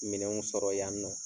Minɛnw sɔrɔ yan nɔ.